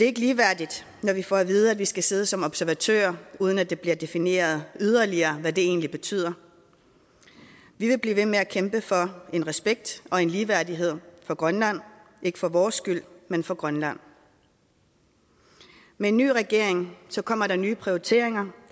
ikke ligeværdigt når vi får at vide at vi skal sidde som observatører uden at det bliver defineret yderligere hvad det egentlig betyder vi vil blive ved med at kæmpe for en respekt og en ligeværdighed for grønland ikke for vores skyld men for grønland med en ny regering kommer der nye prioriteringer